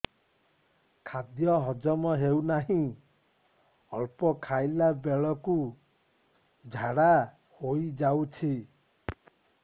ଖାଦ୍ୟ ହଜମ ହେଉ ନାହିଁ ଅଳ୍ପ ଖାଇଲା ବେଳକୁ ଝାଡ଼ା ହୋଇଯାଉଛି